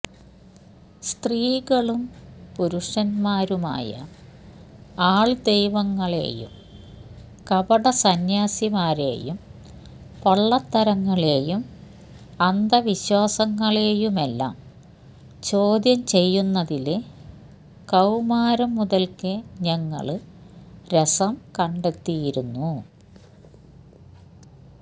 സ്ത്രീകളും പുരുഷന്മാരുമായ ആള്ദൈവങ്ങളെയും കപടസന്യാസിമാരെയും പൊള്ളത്തരങ്ങളെയും അന്ധവിശ്വസങ്ങളെയുമെല്ലാം ചോദ്യം ചെയ്യുന്നതില് കൌമാരം മുതല്ക്കെ ഞങ്ങള് രസം കണ്ടെത്തിയിരുന്നു